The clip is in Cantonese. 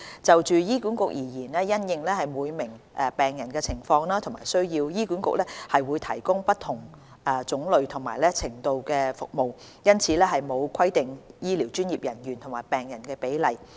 就醫管局而言，因應每名病人的情況和需要，醫管局會提供不同種類和程度的服務，因此沒有規定醫療專業人員與病人的比例。